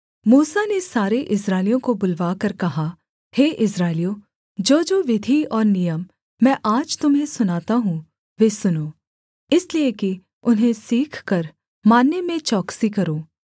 मूसा ने सारे इस्राएलियों को बुलवाकर कहा हे इस्राएलियों जोजो विधि और नियम मैं आज तुम्हें सुनाता हूँ वे सुनो इसलिए कि उन्हें सीखकर मानने में चौकसी करो